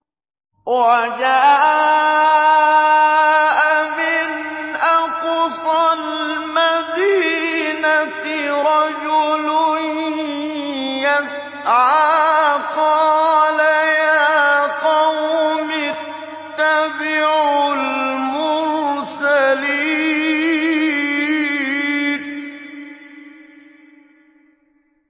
وَجَاءَ مِنْ أَقْصَى الْمَدِينَةِ رَجُلٌ يَسْعَىٰ قَالَ يَا قَوْمِ اتَّبِعُوا الْمُرْسَلِينَ